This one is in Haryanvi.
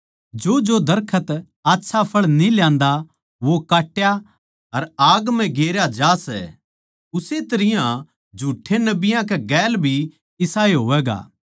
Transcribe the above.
जोजो दरखत आच्छा फळ न्ही ल्यान्दा वो काट्या अर आग म्ह गेरया ज्या सै उस्से तरियां झुठ्ठे नबियाँ कै गेल भी इसाए होवैगा